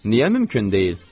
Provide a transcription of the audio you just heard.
Niyə mümkün deyil?